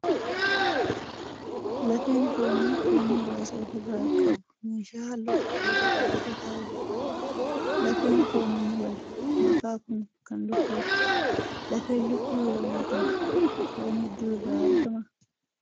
Lafeen foonii foon muraasa ofi irraa qabu meeshaa halluu cuquliisa qabu irra ta'aa jira. Lafeen fooniin wal makaa kun kan lukkuuti. Lafeen lukkuu yeroo nyaataan foon hedduu irraa ni argamaa?